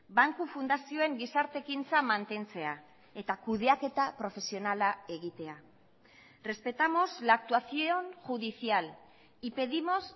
banku fundazioen gizarte ekintza mantentzea eta kudeaketa profesionala egitea respetamos la actuación judicial y pedimos